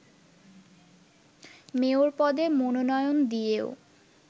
mayor পদে মনোনয়ন দিয়েও